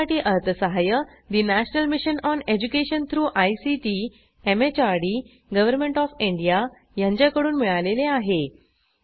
यासाठी अर्थसहाय्य national mission on education through ICT MHRD government of India यांच्याकडून मिळालेले आहे